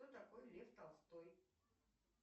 кто такой лев толстой